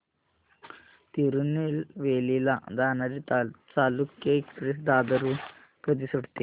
तिरूनेलवेली ला जाणारी चालुक्य एक्सप्रेस दादर हून कधी सुटते